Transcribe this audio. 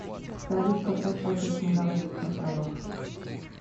салют как расплачиваться на гавайских островах